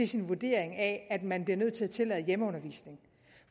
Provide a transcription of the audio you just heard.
sin vurdering af at man bliver nødt til at tillade hjemmeundervisning